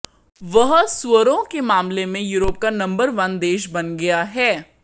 वह सुअरों के मामले में यूरोप का नंबर वन देश बन गया है